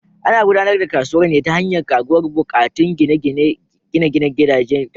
Ana gudanar da kasuwar ne ta hanyar karuwar buƙatun gine-ginen gidaje da kasuwanci.